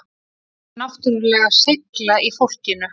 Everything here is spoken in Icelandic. Það er náttúrulega seigla í fólkinu